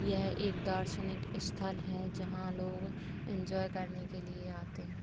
यह एक दार्शनिक स्थल है जहां लोग एंजॉय करने के लिए आते हैं।